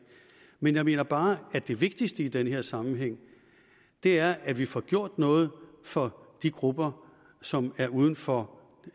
men jeg mener bare at det vigtigste i den her sammenhæng er at vi får gjort noget for de grupper som er uden for